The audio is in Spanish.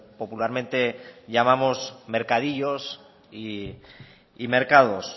popularmente llamamos mercadillos y mercados